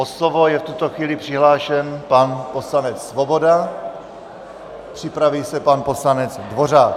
O slovo je v tuto chvíli přihlášen pan poslanec Svoboda, připraví se pan poslanec Dvořák.